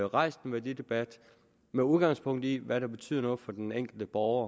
rejst en værdidebat med udgangspunkt i hvad der betyder noget for den enkelte borger